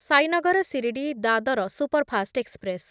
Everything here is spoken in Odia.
Sainagar Shirdi Dadar superfast express